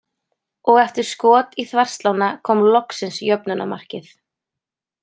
Og eftir skot í þverslána kom loksins jöfnunarmarkið.